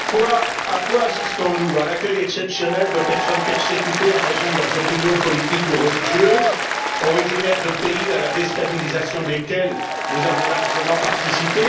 Monsieur le Président, à quoi assistons nous? À l'accueil exceptionnel de personnes persécutées en raison de leurs opinions politiques ou religieuses, originaires de pays à la déstabilisation desquels nous avons largement participé